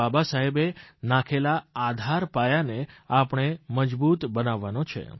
બાબાસાહેબે નાખેલા આધારપાયાને આપણે મજબૂત બનાવવાનો છે